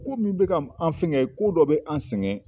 Ko min bɛ ka an fɛngɛ ko dɔ bɛ an sɛgɛn.